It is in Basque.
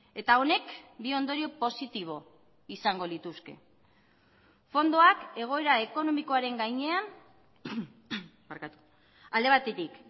eta honek bi ondorio positibo izango lituzke fondoak egoera ekonomikoaren gainean alde batetik